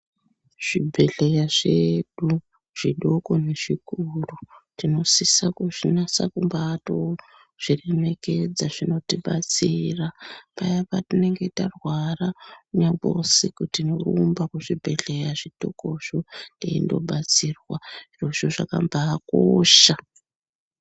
Zvibhedhlera zvedu zviduku nezvikuru tinosisa kuzvinasa kumbatozviremekedza zvinotibatsira paya patinenge tarwara nyangwe usiku tinorumba kuzvibhedhlera zvitozvo teindo batsirwa izvozvo zvakambakosha .